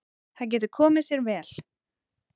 Það getur komið sér vel.